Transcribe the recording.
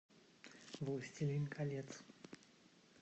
властелин колец